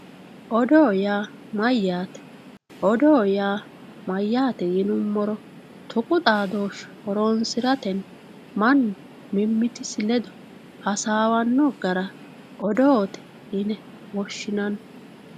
odoo yaa mayaate odoo yaa mayaate yinimoro tuqu xadooshe horonsiratenni mannu mimitisi ledo hasaawanno gara odoote yine woshshinanni